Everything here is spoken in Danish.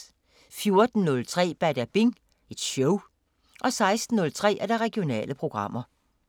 14:03: Badabing Show 16:03: Regionale programmer